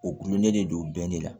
U kulonɛ de don bɛɛ de la